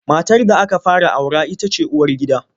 Matar da aka fara aura ita ce uwargida.